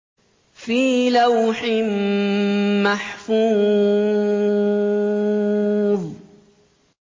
فِي لَوْحٍ مَّحْفُوظٍ